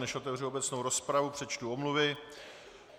Než otevřu obecnou rozpravu, přečtu omluvy.